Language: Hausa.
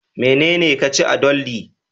Menene ka ci a doldi